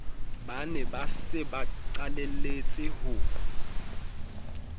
ba ne ba sebaqaleletse ho